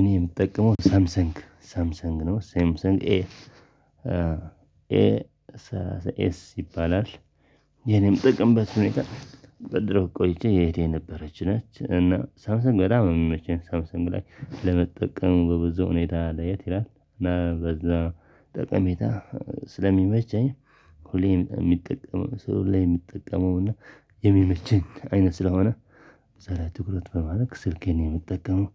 እኔ የምጠቀመው ሳምሰንግ ሳምሰንግ ነው ሳምሰንግ ኤ ኤ ኤ ኤስ ይባላል። የኔም ጥቅም በትምህርት ሁኔታ በድሮ ቆይቼ እህቴ የነበረች ነች። እና ሳምሰን በጣም ነች ሳምሰን ግላይ ለመጠቀም በብዙ ሁኔታ ለየት ይላል እና በዛ ጠቀሜታ ስለሚመቸኝ። ሁሌም የሚጠቀመው ሁሌም የሚጠቀመው እና የሚመችኝ አይነት ስለሆነ ሰላሳ ትኩረት በማድረግ ስልኬን የምጠቀመው